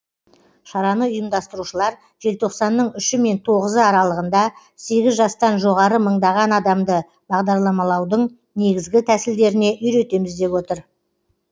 шараны ұйымдастырушылар желтоқсанның үші мен тоғызы аралығында сегіз жастан жоғары мыңдаған адамды бағдарламалаудың негізгі тәсілдеріне үйретеміз деп отыр